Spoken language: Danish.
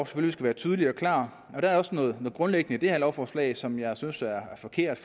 skal være tydelig og klar og der er også noget grundlæggende i det her lovforslag som jeg synes er forkert